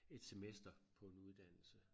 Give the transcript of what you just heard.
Et semester på en uddannelse